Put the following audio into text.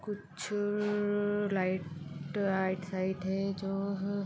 कुछ-छ-छ-छ light right side है जो हैँ--